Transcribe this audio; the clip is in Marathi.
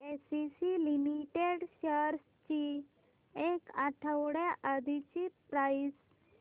एसीसी लिमिटेड शेअर्स ची एक आठवड्या आधीची प्राइस